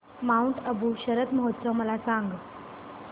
Mount Abu शरद महोत्सव मला सांग